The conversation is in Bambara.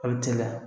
A bɛ cɛya